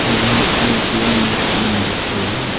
नई ATM machine दिख रही है।